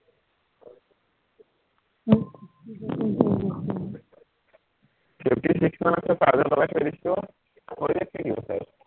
fifty six মান আছে charge ত লগাই থৈ দিছো, হৈয়েই থাকিব চাগে